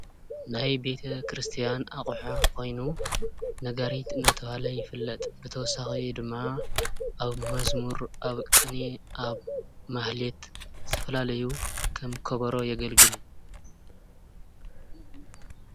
ናይ ቤተ-ክርስቲያን ኣቕሓ ኾይኑ ነጋሪት ናተብሃለ ይፍለጥ። ብተወሳኺ ድማ ኣብ መዝሙር ፣ ኣብ ቕኔ ፣ ኣብ ማህሌት ዝተፈላለዩ ከም ከበሮ የገልግል።